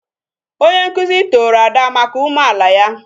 Onye nkuzi toro Ada maka obi umeala ya.